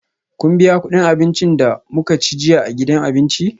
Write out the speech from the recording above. Kin biya kudin abincin da muka ci jiya a gidan abinci?